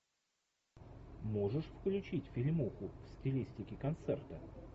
можешь включить фильмуху в стилистике концерта